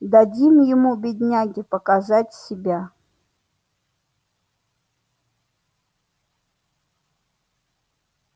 дадим ему бедняге показать себя